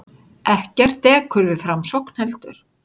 Ekkert dekur við framsókn heldur.